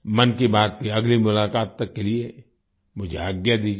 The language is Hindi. मन की बात की अगली मुलाक़ात तक के लिए मुझे आज्ञा दीजिये